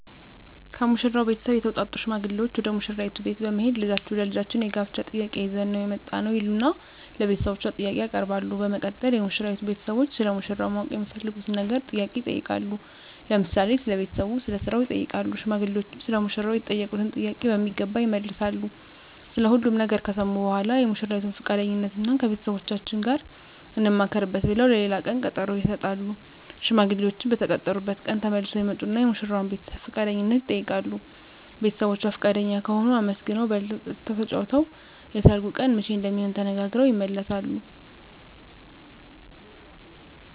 ከሙሽራው ቤተሰብ የተውጣጡ ሽማግሌዎች ወደ ሙሽራይቱ ቤት በመሄድ ልጃችሁን ለልጃችን የጋብቻ ጥያቄ ይዘን ነው የመጣነው ይሉና ለቤተሰቦቿ ጥያቄ ያቀርባሉ በመቀጠል የሙሽራይቱ ቤተሰቦች ስለ ሙሽራው ማወቅ የሚፈልጉትን ነገር ጥያቄ ይጠይቃሉ ለምሳሌ ስለ ቤተሰቡ ስለ ስራው ይጠይቃሉ ሽማግሌዎችም ሰለ ሙሽራው የተጠየቁትን ጥያቄ በሚገባ ይመልሳሉ ስለ ሁሉም ነገር ከሰሙ በኃላ የሙሽራይቱን ፍቃደኝነት እና ከቤተሰቦቻችን ጋር እንማከርበት ብለው ለሌላ ቀን ቀጠሮ ይሰጣሉ። ሽማግሌዎችም በተቀጠሩበት ቀን ተመልሰው ይመጡና የሙሽራዋን ቤተሰብ ፍቃደኝነት ይጠይቃሉ ቤተሰቦቿ ፍቃደኛ ከሆኑ አመስግነው በልተው ጠጥተው ተጫውተው የሰርጉ ቀን መቼ እንደሚሆን ተነጋግረው ይመለሳሉ።